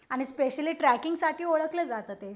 आणि स्पेशली ट्रॅकिंगसाठी ओळखलं जातं ते.